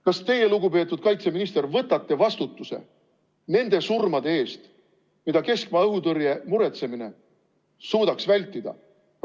Kas teie, lugupeetud kaitseminister, võtate vastutuse nende surmade eest, mida keskmaa õhutõrje muretsemine suudaks vältida?